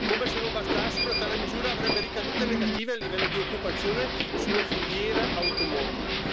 Come se non bastasse, una tale misura avrebbe ricadute negative a livello di occupazione sulla filiera automotive.